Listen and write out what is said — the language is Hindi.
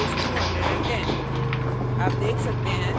total is 210